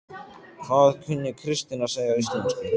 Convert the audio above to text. Hvað kunni Kristín að segja á íslensku?